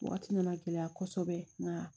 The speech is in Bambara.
Waati nana gɛlɛya kosɛbɛ nka